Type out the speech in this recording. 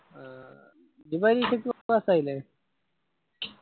ആഹ് നീ ഇപ്പൊ Btechpass ആയില്ലേ